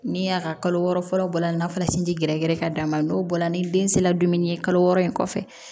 Ni y'a ka kalo wɔɔrɔ fɔlɔ bɔra n'a fɔra sinji gɛrɛgɛrɛ ka d'a ma n'o bɔra ni den sera dumuni ye kalo wɔɔrɔ in kɔfɛ